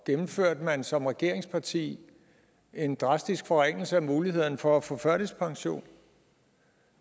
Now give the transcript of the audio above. gennemførte man som regeringsparti en drastisk forringelse af mulighederne for at få førtidspension